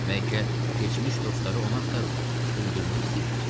Bəlkə keçmiş dostları onu axtarırlar, öldürmək istəyirlər.